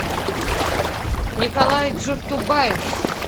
николай джуртубаев